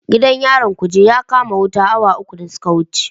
Gidan yarin Kuje ya kama wuta awa uku da suka wuce.